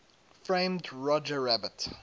framed roger rabbit